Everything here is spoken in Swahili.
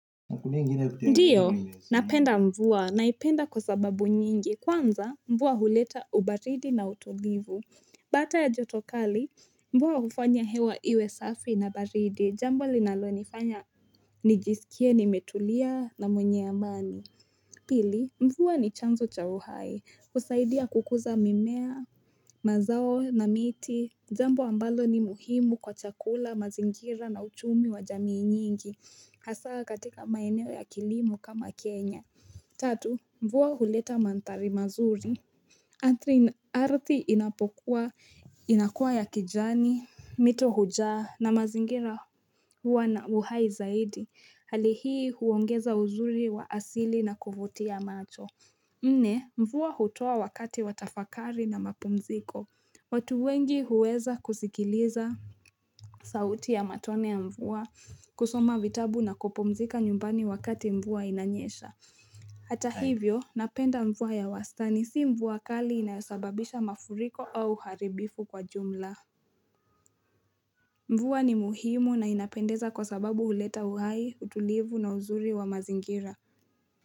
Ndiyo, napenda mvua, naipenda kwa sababu nyingi. Kwanza, mvua huleta ubaridi na utulivu. Baada ya jotokali, mvua hufanya hewa iwe safi na baridi. Jambo linalo nifanya, nijisikie nimetulia na mwenye amani. Pili, mvua ni chanzo cha uhai. Husaidia kukuza mimea, mazao na miti. Jambo ambalo ni muhimu kwa chakula, mazingira na uchumi wa jamii nyingi. Hasa katika maeneo ya kilimo kama Kenya. Tatu, mvua huleta mandhari mazuri, Ardhi inapokuwa, inakuwa ya kijani, mito hujaa na mazingira huwa na uhai zaidi. Hali hii huongeza uzuri wa asili na kuvutia macho. Nne, mvua hutoa wakati watafakari na mapumziko. Watu wengi huweza kusikiliza sauti ya matone ya mvua, kusoma vitabu na kupumzika nyumbani wakati mvua inanyesha. Hata hivyo, napenda mvua ya wastani, si mvua kali inayosababisha mafuriko au uharibifu kwa jumla. Mvua ni muhimu na inapendeza kwa sababu huleta uhai, utulivu na uzuri wa mazingira.